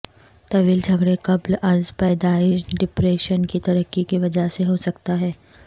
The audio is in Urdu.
طویل جھگڑے قبل از پیدائش ڈپریشن کی ترقی کی وجہ سے ہو سکتا ہے